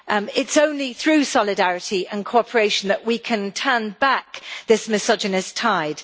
It is only through solidarity and cooperation that we can turn back this misogynist tide.